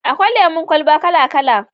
Akwai lemon kwalba kala-kala